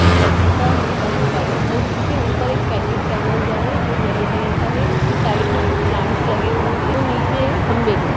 तो सेकेण्ड का होता है व्हाइट और उसके ऊपर एक पैकेट टंगा हुआ हैं जो येलो कलर का है उसके साइड में कुछ प्लांट्स लगे हुए हैं और नीचे खम्बे हैं।